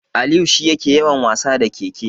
Aliyu shi yake yawan wasa da keke.